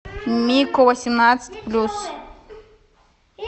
мико восемнадцать плюс